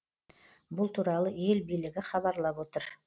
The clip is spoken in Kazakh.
бұл туралы ел билігі хабарлап отыр